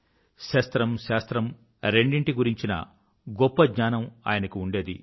శస్త్రం శాస్త్రం రెండింటి గురించిన గొప్ప జ్ఞానం ఆయనకు ఉండేది